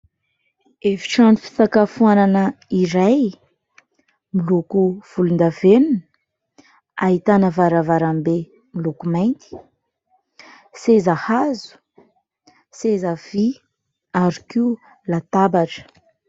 Efitrano fisakafoanana iray miloko volondavenona, ahitana varavarambe miloko mainty, seza hazo, seza vy ary koa latabatra.